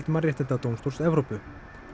Mannréttindadómstóls Evrópu